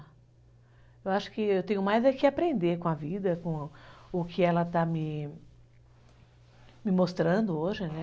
Eu acho que eu tenho mais é que aprender com a vida, com o que ela está me mostrando hoje, né?